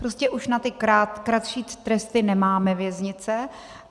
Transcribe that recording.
Prostě už na ty kratší tresty nemáme věznice.